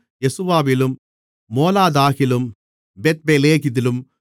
யெசுவாவிலும் மோலாதாகிலும் பெத்பெலேதிலும்